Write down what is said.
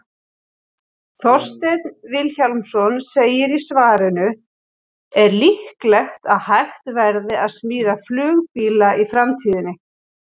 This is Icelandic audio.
Þorsteinn Vilhjálmsson segir í svarinu Er líklegt að hægt verði að smíða flugbíla í framtíðinni?